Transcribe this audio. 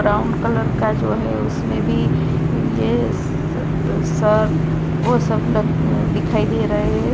Brown colour का जो है उसमें भी ये स सब वो सब लोग दिखाई दे रहे है।